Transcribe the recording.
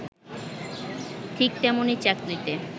ঠিক তেমনি চাকরিতে